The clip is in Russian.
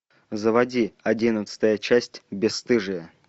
заводи одиннадцатая часть бесстыжие